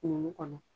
Kunun kɔnɔ